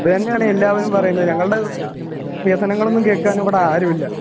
ഇത് തന്നെയാണ് എല്ലാവരും പറയുന്നത് ഞങ്ങൾടെ വികസനങ്ങളൊന്നും കേൾക്കാനിവിടെ ആരുവില്ല